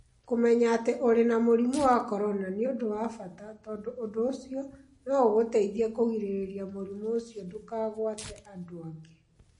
Kũmenya atĩ ũrĩ na mũrimũ wa korona nĩ ũndũ wa bata, tondũ ũndũ ũcio no ũgũteithie kũgirĩrĩria mũrimũ ũcio ndũkagwate andũ angĩ.